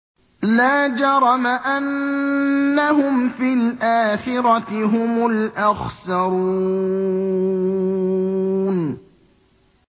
لَا جَرَمَ أَنَّهُمْ فِي الْآخِرَةِ هُمُ الْأَخْسَرُونَ